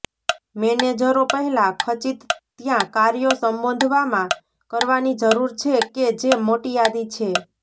મેનેજરો પહેલાં ખચીત ત્યાં કાર્યો સંબોધવામાં કરવાની જરૂર છે કે જે મોટી યાદી છે